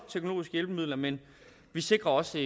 teknologiske hjælpemidler men vi sikrer også